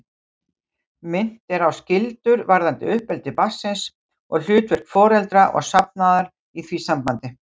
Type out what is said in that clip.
Minnt er á skyldur varðandi uppeldi barnsins og hlutverk foreldra og safnaðar í því sambandi.